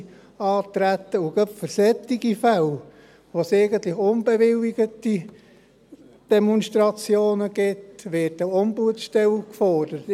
Gerade für solche Fälle, in denen es eigentlich unbewilligte Demonstrationen gibt, wird eine Ombudsstelle gefordert.